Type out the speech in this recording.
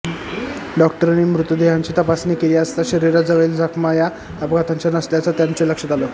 डॉक्टरांनी मृतदेहाची तपासणी केली असता शरीरावरील जखमा या अपघाताच्या नसल्याचं त्यांच्या लक्षात आलं